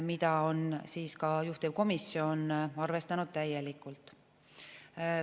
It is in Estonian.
Seda on juhtivkomisjon arvestanud täielikult.